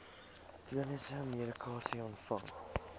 chroniese medikasie ontvang